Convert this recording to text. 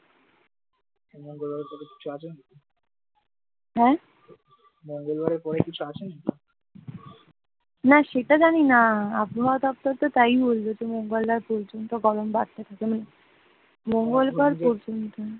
না সেটা জানিনা আবহাওয়াদপ্তর তো তাই বলল যে মঙ্গলবার পর্যন্ত গরম বাড়বে মঙ্গলবার পর্যন্ত,